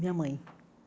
Minha mãe.